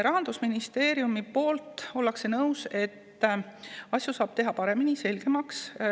Rahandusministeeriumis ollakse nõus, et asju saab teha paremaks ja selgemaks.